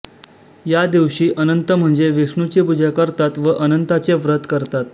या दिवशी अनंत म्हणजे विष्णुची पूजा करतात व अनंताचे व्रत करतात